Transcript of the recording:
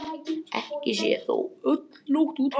Ekki sé þó öll nótt úti.